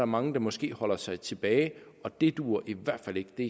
mange der måske holder sig tilbage og det duer i hvert fald ikke det